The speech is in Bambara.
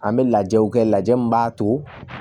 An bɛ lajɛw kɛ lajɛ min b'a to